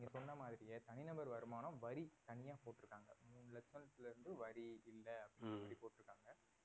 நீங்க சொன்ன மாதிரியே தனிநபர் வருமானம் வரி தனியா போட்டிருக்காங்க மூன்று லட்சத்திலிருந்து வரி இல்ல அப்படின்னு சொல்லி போட்டிருக்காங்க